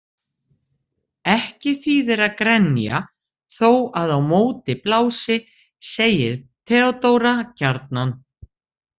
Ekki þýðir að grenja þó að á móti blási, segir Theodóra gjarnan.